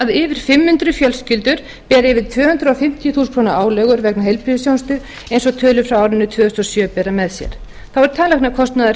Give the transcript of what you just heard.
að yfir fimm hundruð fjölskyldur beri yfir tvö hundruð fimmtíu þúsund krónur álögur vegna heilbrigðisþjónustu eins og tölur frá árinu tvö þúsund og sjö bera með sér þá er